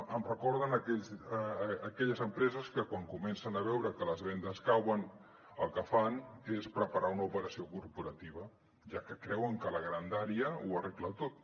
em recorden aquelles empreses que quan comencen a veure que les vendes cauen el que fan és preparar una operació corporativa ja que creuen que la grandària ho arregla tot